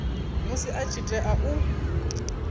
musi a tshi tea u